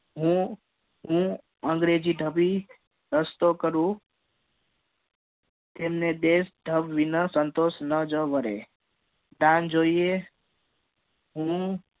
હું હું અંગ્રેજી ધાભી ઘસતો કરું તેમને ધ વાયા સાન્તોસ ના જ મળે તન જોઈએ